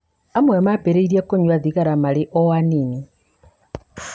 Amwe mambĩrĩria kũnyua thigara marĩ o anini.